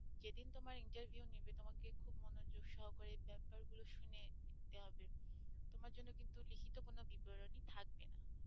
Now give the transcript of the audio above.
যেদিন তোমার interview নিবে তোমাকে খুব মনোযোগ সহকারে বেপার গুলো সুনে নিতে হবে তোমার জন্য কিন্তু লিখিত কোন বিবরণী থাকবে না